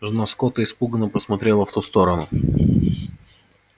жена скотта испуганно посмотрела в ту сторону